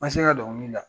Ma se ka dɔnkili da